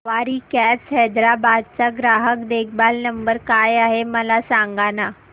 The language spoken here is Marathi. सवारी कॅब्स हैदराबाद चा ग्राहक देखभाल नंबर काय आहे मला सांगाना